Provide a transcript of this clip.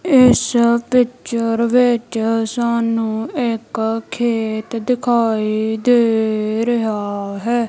ਇਸ ਪਿੱਚਰ ਵਿੱਚ ਸਾਨੂੰ ਇੱਕ ਖੇਤ ਦਿਖਾਈ ਦੇ ਰਿਹਾ ਹੈ।